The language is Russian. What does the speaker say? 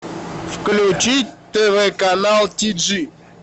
включить тв канал тиджи